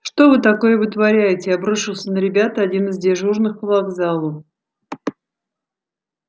что вы такое вытворяете обрушился на ребят один из дежурных по вокзалу